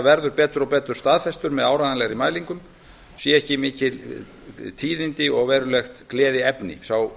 verður betur staðfestur með áreiðanlegri mælingum séu ekki mikil tíðindi og verulegt gleðiefni sá